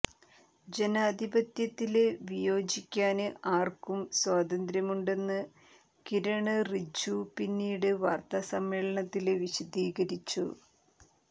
ജനാധിപത്യത്തില് വിയോജിക്കാന് ആര്ക്കും സ്വാതന്ത്ര്യമുണ്ടെന്ന് കിരണ് റിജ്ജു പിന്നീട് വാര്ത്താസമ്മേളനത്തില് വിശദീകരിച്ചു